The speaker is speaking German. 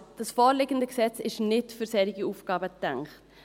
Aber das vorliegende Gesetz ist nicht für solche Aufgaben gedacht.